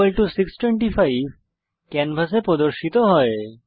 54625 ক্যানভাসে প্রদর্শিত হয়